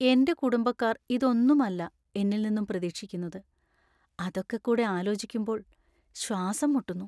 എൻ്റെ കുടുംബക്കാർ ഇതൊന്നും അല്ല എന്നിൽനിന്നും പ്രതീക്ഷിക്കുന്നത്; അതൊക്കെക്കൂടി ആലോചിക്കുമ്പോൾ ശ്വാസം മുട്ടുന്നു.